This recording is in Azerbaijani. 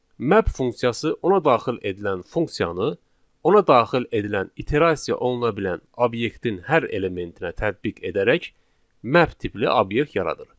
Map funksiyası ona daxil edilən funksiyanı, ona daxil edilən iterasiya oluna bilən obyektin hər elementinə tətbiq edərək map tipli obyekt yaradır.